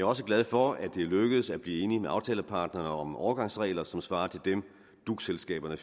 også glad for at det er lykkedes at blive enig med aftalepartnerne om overgangsregler som svarer til dem duc selskaberne